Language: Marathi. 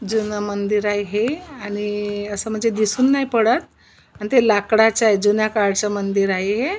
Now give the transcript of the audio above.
जुन मंदिर आहे हे आणि अस म्हणजे दिसुन नाही पडत पण ते लाकडाच आहे जुन्या काळच मंदिर आहे हे.